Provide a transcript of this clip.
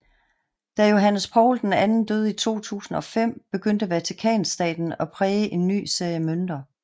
Da Johannes Paul II døde i 2005 begyndte Vatikanstaten at præge en ny serie mønter